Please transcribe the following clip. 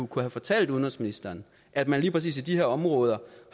kunnet fortælle udenrigsministeren at man lige præcis i de her områder